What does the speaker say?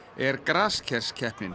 er